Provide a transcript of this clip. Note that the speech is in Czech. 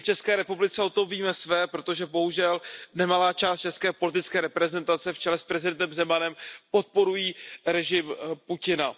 My v České republice o tom víme své, protože bohužel nemalá část české politické reprezentace v čele s prezidentem Zemanem podporují režim Putina.